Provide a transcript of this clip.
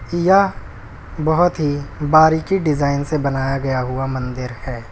यह बहुत ही बारीकी डिजाइन से बनाया गया हुआ मंदिर है।